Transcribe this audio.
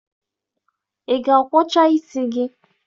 Ị ga-akwọcha isi gị?